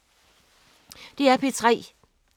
DR P3